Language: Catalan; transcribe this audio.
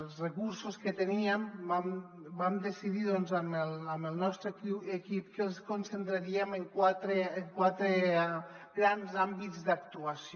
els recursos que teníem vam decidir doncs amb el nostre equip que els concentraríem en quatre grans àmbits d’actuació